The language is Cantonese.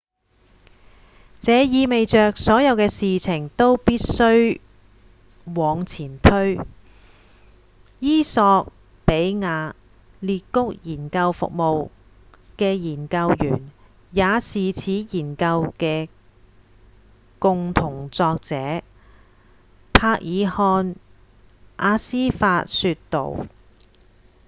「這意味著所有事情都必須往前推」衣索比亞「裂谷研究服務」的研究員、也是此研究的共同作者──伯爾漢·阿斯法說道